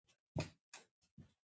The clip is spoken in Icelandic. Hvíl vært, kæri vinur.